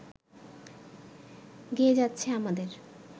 গেয়ে যাচ্ছে আমাদের